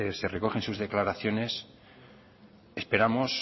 se recoge en sus declaraciones esperamos